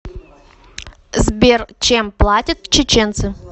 сбер чем платят чеченцы